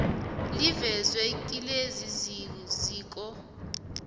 livezwe kileli ziko